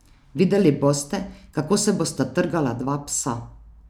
Videli boste, kako se bosta trgala dva psa.